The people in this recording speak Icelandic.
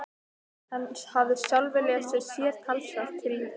Hann hafði sjálfur lesið sér talsvert til í þeim.